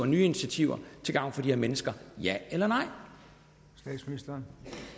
nye initiativer til gavn for de her mennesker ja eller nej